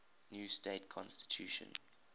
new state constitution